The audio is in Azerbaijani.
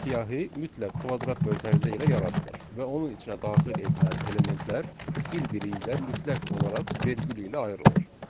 Siyahı mütləq kvadrat mötərizə ilə yaradılır və onun içinə daxil edilən elementlər bir-biri ilə mütləq olaraq vergül ilə ayrılır.